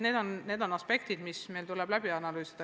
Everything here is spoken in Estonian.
Need on aspektid, mis meil tuleb läbi analüüsida.